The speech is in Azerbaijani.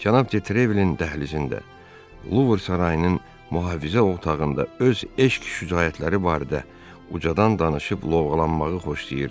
Cənab de Trevilin dəhlizində Luver sarayının mühafizə otağında öz eşq şücaətləri barədə ucadan danışıb lovğalanmağı xoşlayırdı.